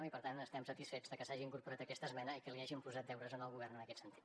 i per tant estem satisfets de que s’hagi incorporat aquesta esmena i que li hàgim posat deures al govern en aquest sentit